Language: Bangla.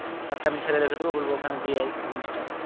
একটা এমনি ছেলে রেখে দেবো বলবো ওখানে দিয়ে আয় ওই জিনিসটা।